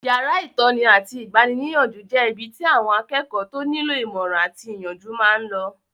Yàrá ìtọ́ni àti igbaníniyànjú jẹ́ ibi tí àwọn akẹ́kọ̀ọ́ tó nílò ìmọ̀ràn àti ìyànjú máa n lọ